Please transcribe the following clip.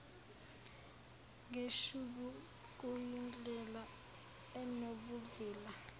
ngeshubhu kuyindlela enobuvila